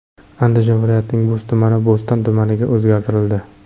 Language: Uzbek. Andijon viloyatining Bo‘z tumani Bo‘ston tumaniga o‘zgartirildi.